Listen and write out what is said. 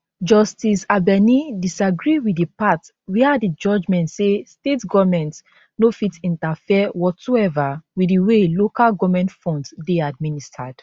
justice abeni disagree wit di part wia di judgement say state goments no fit interfere whatsoever wit di way local goment funds dey administered